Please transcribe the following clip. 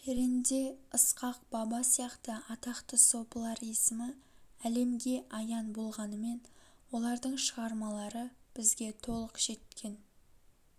перенде ысқақ баба сияқты атақты сопылар есімі әлемге аян болғанымен олардың шығармалары бізге толық жеткен